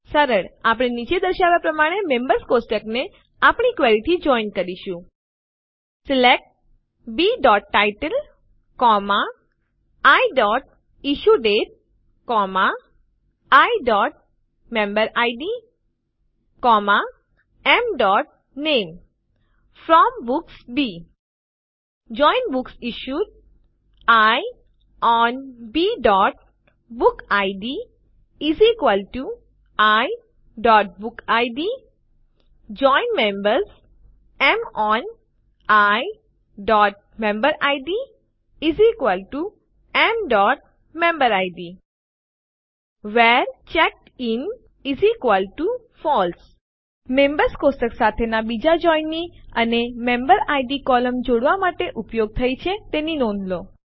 સરળ આપણે નીચે દર્શાવ્યાં પ્રમાણે મેમ્બર્સ કોષ્ટકને આપણી ક્વેરીથી જોઇન કરીશું select b title i issue date i member id m name from books b join books issued i on b book id i book id join members m on i member id m member id where checked in false members કોષ્ટક સાથેના બીજા જોઇન ની અને મેમ્બેરિડ કોલમ જોડવા માટે ઉપયોગ થઇ છે તેની નોંધ લો